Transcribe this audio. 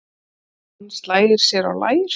Hann slær sér á lær.